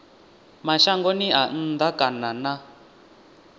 mashangoni a nnḓa kana na